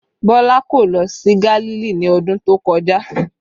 Bọlá kò lọ sí Gálílì ní ọdún tó kọjá